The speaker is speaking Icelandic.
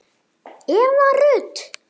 Eva Rut